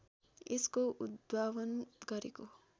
यसको उद्भावन गरेको